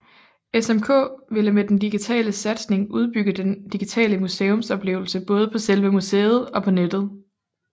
SMK ville med den digitale satsning udbygge den digitale museumsoplevelse både på selve museet og på nettet